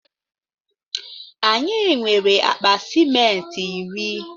Anyi nwere akpa ciment iri